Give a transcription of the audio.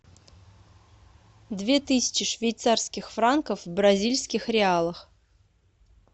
две тысячи швейцарских франков в бразильских реалах